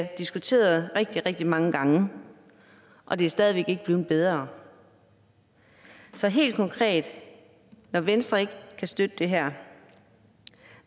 diskuteret rigtig rigtig mange gange og det er stadig væk ikke blevet bedre så helt konkret når venstre ikke kan støtte det her